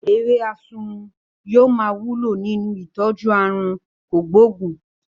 Ewé asunwun yóò máa wúlò lọ nínú ìtọ́jú àrùn kògbóògùn